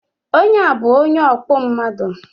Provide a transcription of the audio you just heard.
Onye a bu onye ọkpụ mmadu